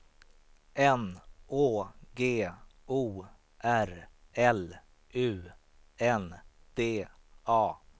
N Å G O R L U N D A